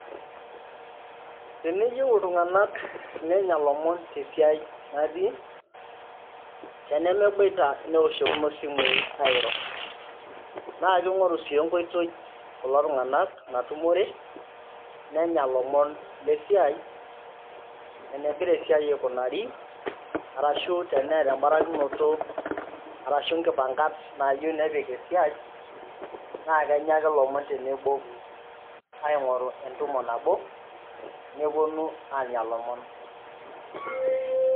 Teneyieu iltungana nenya lomon tesiai naati, teneboita neoshokino simui airo na king'oru si enkoitoi kulo tungana natumore nenya lomon lesiai , enegira esiai aikunari arashu teneeta obarakinoto ashu inkipankat naiyieu nepik esiai naa kenya ake lomon tenebo aingoru entumo nabo neponu anya lomon.